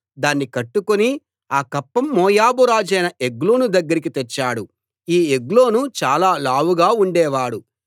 దాన్ని కట్టుకుని ఆ కప్పం మోయాబు రాజైన ఎగ్లోను దగ్గరికి తెచ్చాడు ఈ ఎగ్లోను చాలా లావుగా ఉండే వాడు